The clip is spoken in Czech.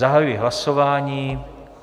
Zahajuji hlasování.